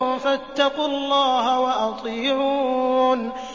فَاتَّقُوا اللَّهَ وَأَطِيعُونِ